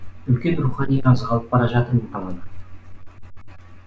үлкен рухани азық алып бара жатырмын қаладан